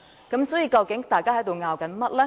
究竟大家還在爭拗甚麼呢？